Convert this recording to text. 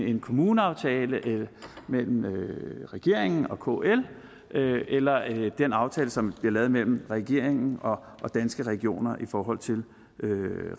en kommuneaftale mellem regeringen og kl eller af den aftale som bliver lavet mellem regeringen og danske regioner i forhold til